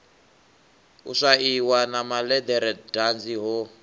u swaiwa na malederedanzi ho